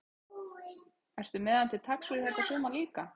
Ertu með hann til taks fyrir þetta sumar líka?